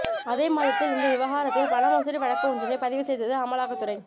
அதே மாதத்தில் இந்த விவகாரத்தில் பண மோசடி வழக்கு ஒன்றினை பதிவு செய்தது அமலாக்கத்துறை